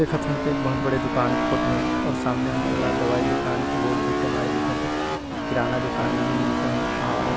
देखत हन ते ह एक बहुत बड़े दुकान के फोटो हरे अउ सामने हमन ला दवाई दुकान के बोर्ड भी टँगाए दिखत हे किराना दुकान भी मिलथे इहाँ--